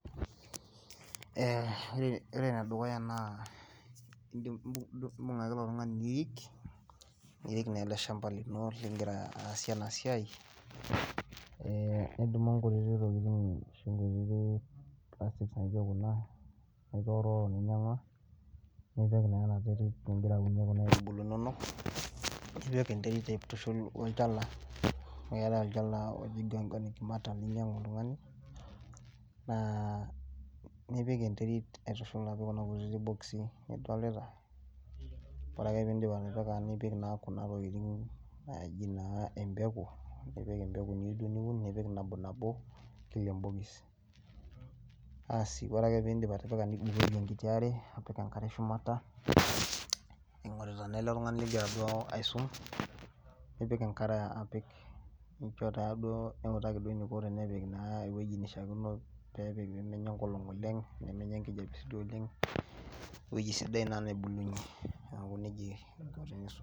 Eeh, wore enedukuyia naa ubung ake ilo tungani nirik, nirik naa ele shamba lino lingira aasie enasiai, eeh nidum inkutitik tokiting plastics naijo kuna ninyangua, nitoworuworo ninyangua , nipik naa enaterit ningira aunie kuna aitubulu inonok , nipik enterit aitushul woolchala , amu keetai olchala oji organic matter linyangu oltungani naa ipik enterit aitushul apik kuna kutitik boxes nidolita, wore ake pee idip atipika nipik naa kuna tokiting naaji naa empeku , nipik empeku niyeu duo niun , nipik nabonabo kila embokis , aasi wore ake pee idip atipika nibukoki enkiti aare , apik enkare shumata , ingorita naa ele tungani lingira aisum, nipik enkare apik , nawutaki duo eniko tenepik naa eweji nishaa kino peepik peemenya enkolong oleng , nemenya enkijape siiduo oleng, eweji sidai naa nebulunye niaku nejia aiko tanaisum.